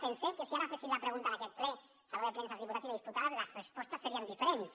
pensem que si ara féssim la pregunta en aquest ple al saló de plens als diputats i les diputades les respostes serien diferents